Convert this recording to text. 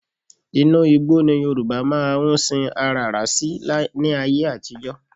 Inú igbó́ ni Yorùbá máa ń sin aràrá sí ní ayé àtijọ́